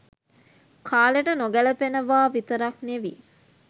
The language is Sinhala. කාලෙට නොගැලපෙනවා විතරක් නෙවි